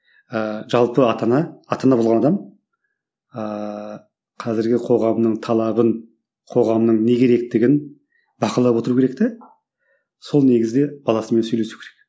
ыыы жалпы ата ана ата ана болған адам ааа қазіргі қоғамның талабын қоғамның не керектігін бақылап отыру керек те сол негізде баласымен сөйлесу керек